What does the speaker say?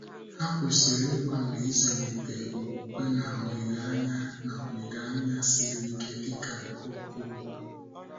Ha kwesịrị ịgbalị ịzụlite okwukwe na olileanya na olileanya siri ike dị ka nke Okonkwo